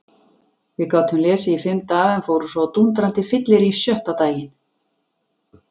Við gátum lesið í fimm daga en fórum svo á dúndrandi fyllerí sjötta daginn.